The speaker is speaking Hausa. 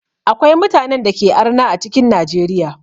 Akwai mutanen dake arna a cikin Najeriya.